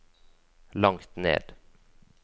langt ned